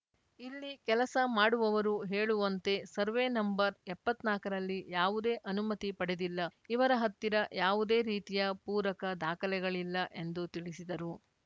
ಇಲ್ಲಿ ಕೆಲಸ ಮಾಡುವವರು ಹೇಳುವಂತೆ ಸರ್ವೆ ನಂಬರ್‌ ಎಪ್ಪತ್ನಾಕರಲ್ಲಿ ಯಾವುದೇ ಅನುಮತಿ ಪಡೆದಿಲ್ಲ ಇವರ ಹತ್ತಿರ ಯಾವುದೇ ರೀತಿಯ ಪೂರಕ ದಾಖಲೆಗಳಿಲ್ಲ ಎಂದು ತಿಳಿಸಿದರು